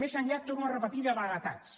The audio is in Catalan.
més enllà ho torno a repetir de vaguetats